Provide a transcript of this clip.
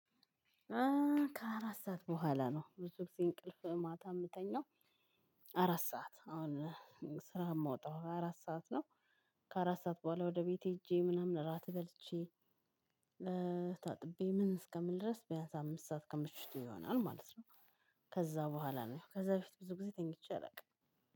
ከአራት ሰዓት በኋላ ነው ብዙ ጊዜ እንቅልፍ ማታ የምተኛው። አራት ሰዓት አሁን ስራ የምወጣው አራት ሰዓት ነው። ከአራት ሰዓት በኋላ ወደ ቤቴ ሄጄ ምናምን እራት በልቼ። ታጥቤ ምን እስከምል ድረስ ቢያንስ አምስት ሰዓት ከምሽቱ ይሆናል ማለት ነው። ከዛ በኋላ ነው ከዛ በፊት ብዙ ጊዜ ተኝቼ አላውቅም።